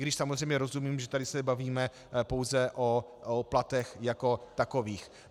I když samozřejmě rozumím, že tady se bavíme pouze o platech jako takových.